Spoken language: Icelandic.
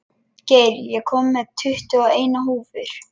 Geir, ég kom með tuttugu og eina húfur!